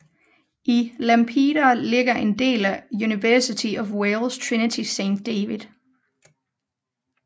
I Lampeter ligger en del af University of Wales Trinity Saint David